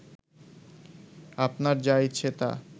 আপনার যা ইচ্ছে তা